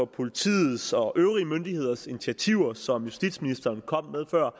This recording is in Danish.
politiets og øvrige myndigheders initiativer som justitsministeren kom med før